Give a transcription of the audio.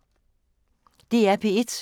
DR P1